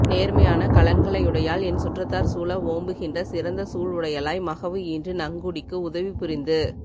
நேர்மையான கலன்களையுடையாள் என் சுற்றத்தார் சூழ ஓம்புகின்ற சிறந்த சூல் உடையளாய் மகவு ஈன்று நங்குடிக்கு உதவிபுரிந்து